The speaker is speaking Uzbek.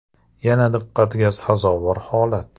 Yana diqqatga sazovor holat.